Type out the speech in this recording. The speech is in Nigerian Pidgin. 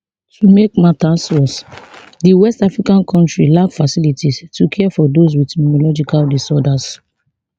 to make matters worse di west african kontri lack facilities to care for those wit neurological disorders